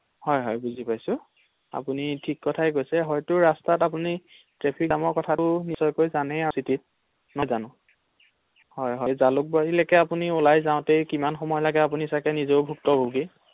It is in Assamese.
হয় হয় বুজি পাইছো আপুনি ঠিক কথাই কৈছে হয়তো ৰাস্তাত আপুনি ট্ৰেফিক জামৰ কথাটো জানেই আৰু চিটিত নহয় জানো, হয় হয় ৷জালুকবাৰীলৈকে আপুনি ওলাই যাওঁতে কিমান সময় লাগে আপুনি ছাগে নিজেও ভোক্ত ভোগী ৷